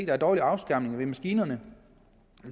er dårlig afskærmning ved maskinerne